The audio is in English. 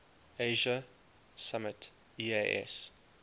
asia summit eas